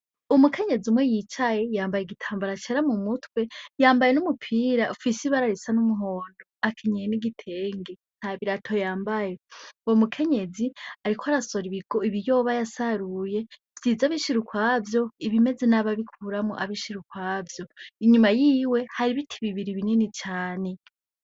Umukenyezi umwe yicaye yambaye igitambara mu mutwe , yambaye n'umupira ufise ibara risa n'umuhondo akenyeye n'igitenge nta birato yambaye , uwo mukenyezi ariko arasoroma ibiyoba yasaruye, vyiza abishira ukwavyo , ibimeze nabi abikuramwo abishir'ukwavyo ,inyuma yiwe har'ibiti bibiri binini cane.